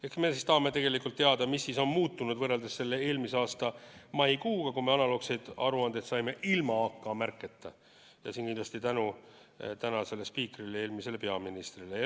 Ehk me tahame teada, mis on muutunud võrreldes eelmise aasta maikuuga, kui me analoogseid aruandeid saime ilma AK-märketa, ja seda kindlasti tänu tänasele spiikrile, eelmisele peaministrile.